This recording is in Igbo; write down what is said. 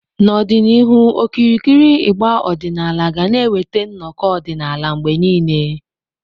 N'ọdịnihu, okirikiri ịgbà ọdịnala ga na-eweta nnọkọ ọdịnala mgbe niile.